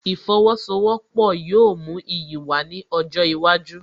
Ìfowósowọ́pọ̀ yóò mú iyì wá ní ọjọ́ iwájú